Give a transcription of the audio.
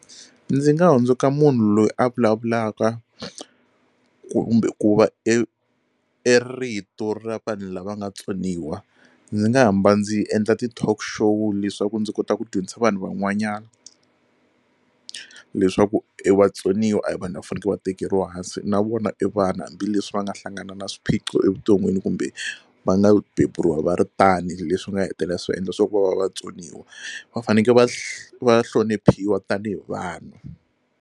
Ndzi nga hundzuka munhu loyi a vulavulaka kumbe ku va e e rito ra vanhu lava nga tsoniwa. Ndzi nga hamba ndzi endla ti-talk show leswaku ndzi kota ku dyondzisa vanhu van'wanyana leswaku e vatsoniwa a hi vanhu lava faneke va tekeriwa hansi na vona i vanhu hambileswi va nga hlangana na swiphiqo evuton'wini kumbe va nga beburiwa va ri tani leswi nga hetelela swi va endla swa ku va va vatsoniwa va faneke va va hloniphiwa tanihi vanhu.